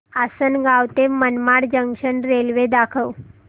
आसंनगाव ते Manmad junction railway दाखव